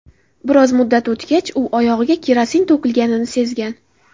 Biroz muddat o‘tgach u oyog‘iga kerosin to‘kilganini sezgan.